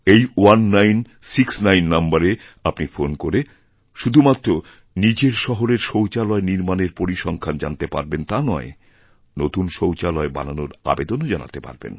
এই 1969 নম্বরে আপনি ফোন করে শুধু মাত্র নিজের শহরের শৌচালয়নির্মাণের পরিসংখ্যান জানতে পারবেন তা নয় নতুন শৌচালয় বানানোর আবেদনও জানাতেপারবেন